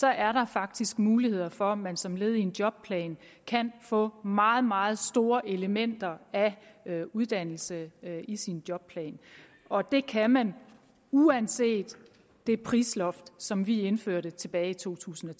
er der faktisk muligheder for at man som led i en jobplan kan få meget meget store elementer af uddannelse i sin jobplan og det kan man uanset det prisloft som vi indførte tilbage i totusinde